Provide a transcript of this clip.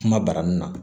Kuma barani na